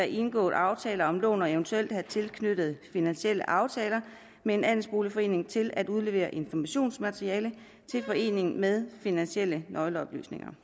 indgået aftaler om lån og eventuelt hertil knyttede finansielle aftaler med en andelsboligforening til at udlevere informationsmateriale til foreningen med finansielle nøgleoplysninger